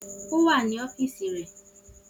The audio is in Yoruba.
O wa ni ọfiisi rẹ.